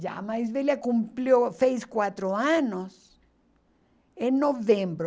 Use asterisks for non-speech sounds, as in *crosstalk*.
Já a mais velha *unintelligible* fez quatro anos em novembro.